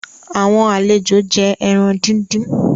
Àwọn àlejó jé èràn dín dín.